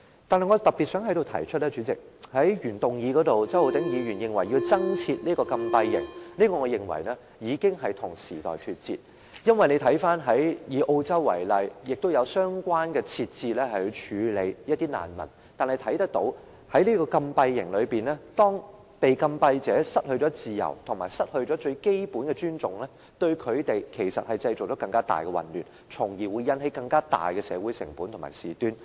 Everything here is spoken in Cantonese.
但是，主席，我特別想在此提出，周浩鼎議員在原議案中提出要增設禁閉營，我認為這已經跟時代脫節，因為以澳洲為例，也有相關設置處理難民，但從中可見，禁閉者在禁閉營中失去自由和失去最基本的尊重，只會令他們製造更大的混亂，從而引起更大的社會成本和事端。